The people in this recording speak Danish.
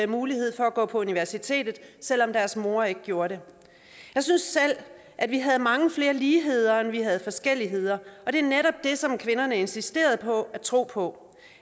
mulighed for at gå på universitetet selv om deres mor ikke gjorde det jeg synes selv at vi havde mange flere ligheder end vi havde forskelligheder og det er netop det som kvinderne insisterede på at tro på